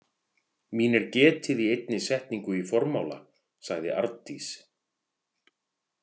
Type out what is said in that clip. Mín er getið í einni setningu í formála, sagði Arndís.